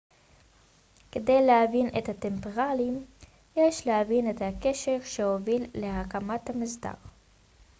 כדי להבין את הטמפלרים יש להבין את ההקשר שהוביל להקמת המסדר